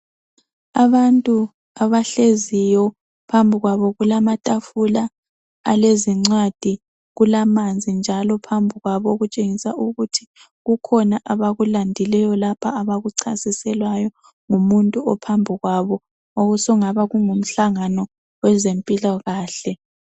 Abantu abahleziyo. Phambi kwabo kulamatafula alezincwadi, kulamanzi njalo phambi kwabo okutshengisa ukuthi kukhona abakulandileyo lapha abakuchasiselwayo ngumuntu ophambi kwabo okokuthi sokungaba kungumhlangano sezempilakahle.